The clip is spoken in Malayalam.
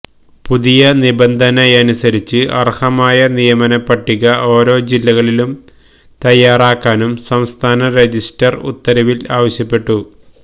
പുതിയ നിബന്ധനയനുസരിച്ച് അര്ഹമായ നിയമനപട്ടിക ഓരോ ജില്ലകളിലും തയാറാക്കാനും സംസ്ഥാന രജിസ്ട്രാര് ഉത്തരവില് ആവശ്യപ്പെട്ടു